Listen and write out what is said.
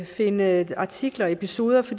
finde artikler og episoder for